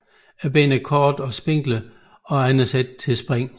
Benene er korte og spinkle og uegnede til spring